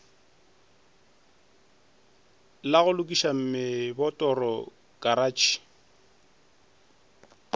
la go lokiša mebotoro karatšhe